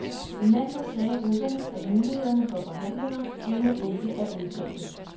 I mandags sagde russerne, at mulighederne for forhandlinger endnu ikke er udtømte.